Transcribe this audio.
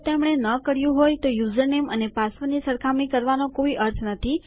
જો તેમને ન કર્યું હોય તો યુઝરનેમ અને પાસવર્ડ ની સરખામણી કરવાનો કોઈ અર્થ નથી